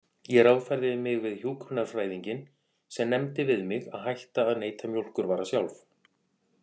Ég ráðfærði mig við hjúkrunarfræðinginn sem nefndi við mig að hætta að neyta mjólkurvara sjálf.